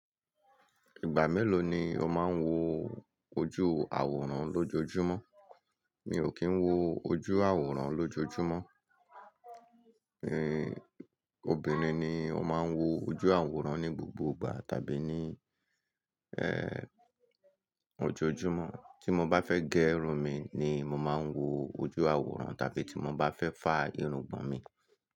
Ìgbà mélòó ni ó máa ń wo ojú àwòrán lójoojúmọ́? Mi ò kí ń wo ojú àwòrán lójoojúmọ́. Ehn, obìnrin ni ó máa ń wo ojú àwòrán ní gbogbo ìgbà tàbí ní, eh, ojoojúmọ́. Tí mo bá fẹ́ gé irun mi ni màá ń wo ojú àwòrán tàbí tí mo bá fẹ́ fá irungbọ̀n mi.